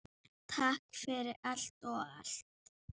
Takk fyrir allt og allt!